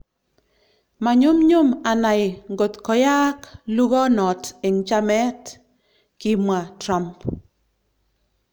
"Manyumnyum anai ngot koyaak lugonot eng chamet ," kimwa Trump .